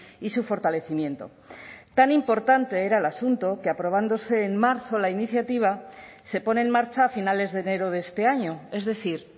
y su fortalecimiento tan importante era el asunto que aprobándose en marzo la iniciativa se pone en marcha a finales de enero de este año es decir